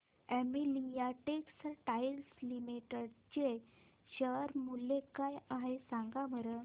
Olympia textiles limited चे share मूल्य काय आहे सांगा बरं